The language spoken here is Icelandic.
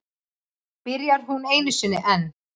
Byrjar hún einu sinni enn.